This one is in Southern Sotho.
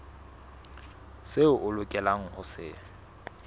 seo o lokelang ho se